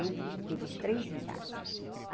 Sempre eu tive os três em casa.